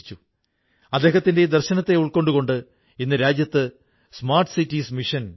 എന്നാലിന്ന് നമ്മുടെ പുൽവാമയിലെ ഈ പെൻസിൽ സ്ലേറ്റുകൾ രാജ്യങ്ങൾക്കിടിയിലെ വിടവു കുറയ്ക്കുന്നു